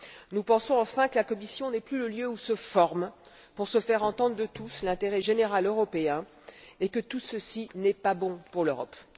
Nous pensons, enfin, que la Commission n'est plus le lieu où se forme, pour se faire entendre de tous, l'intérêt général européen, et que tout ceci n'est pas bon pour l'Europe.